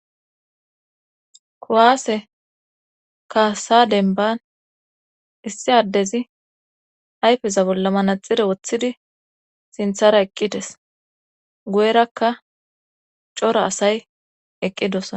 kuwaase kaasa denban issi addezi ayfeza bolla manaxire woththidi sinthara eqqides guyerakka cora asay eqqidosaa.